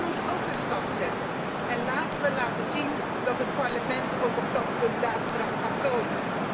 U moet óók een stap zetten en laten we laten zien dat het Parlement ook op dat punt daadkracht kan tonen.